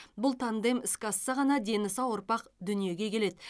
бұл тандем іске асса ғана дені сау ұрпақ дүниеге келеді